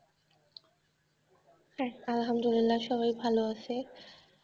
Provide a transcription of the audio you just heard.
আল্হামদুলিল্লা সবাই ভালো আছে.